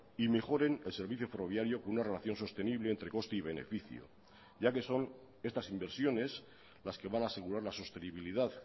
y mejoren el servicio ferroviario con una relación sostenible entre coste y beneficio ya que son estas inversiones las que van a asegurar la sostenibilidad